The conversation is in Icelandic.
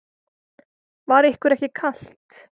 Var ykkur ekki kalt?